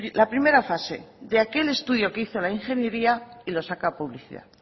la primera fase de aquel estudio que hizo la ingeniería y lo saca a publicidad